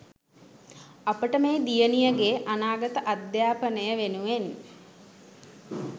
අපට මේ දියණියගේ අනාගත අධ්‍යාපනය වෙනුවෙන්